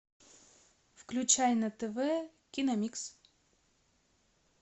включай на тв киномикс